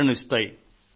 ప్రేరణను కలిగిస్తాయి